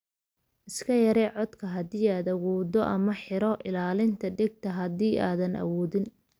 Iska yaree codka haddii aad awooddo, ama xidho ilaalinta dhegta haddii aadan awoodin.